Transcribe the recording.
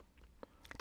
DR1